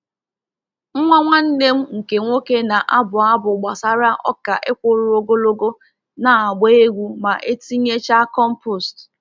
Nwa nwanne m nke nwoke na-abụ abụ gbasara ọka ịkwụrụ ogologo na-agba egwu ma e tinyechaa compost.